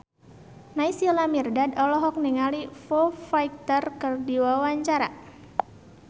Naysila Mirdad olohok ningali Foo Fighter keur diwawancara